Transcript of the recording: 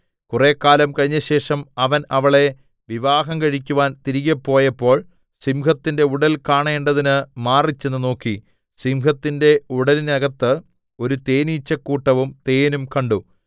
കുറെക്കാലം കഴിഞ്ഞശേഷം അവൻ അവളെ വിവാഹം കഴിക്കുവാൻ തിരികെ പോയപ്പോൾ സിംഹത്തിന്റെ ഉടൽ കാണേണ്ടതിന് മാറിച്ചെന്ന് നോക്കി സിംഹത്തിന്റെ ഉടലിന്നകത്ത് ഒരു തേനീച്ചക്കൂട്ടവും തേനും കണ്ടു